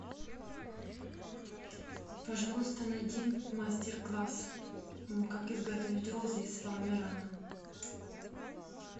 пожалуйста найди мастер класс как изготовить розы из фоамирана